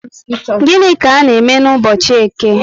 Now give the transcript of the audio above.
Gịnị ka a n'eme n'ubochi Eke?